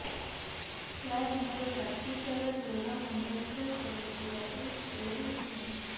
ସାର ମୋର ରାତି ସାରା ଜ୍ଵର ମୁଣ୍ଡ ବିନ୍ଧା କରୁଛି ରାତିରେ ଶୋଇ ହେଉ ନାହିଁ